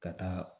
Ka taa